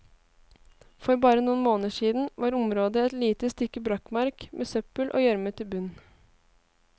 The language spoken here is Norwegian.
For bare noen måneder siden var området et lite stykke brakkmark med søppel og gjørmete bunn.